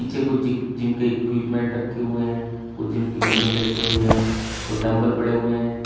ये कुछ जिम के इक्विपमेंट रखे हुए हैं कुछ जिम की मशीन रखी हुई है और डंबल पड़े हुए हैं।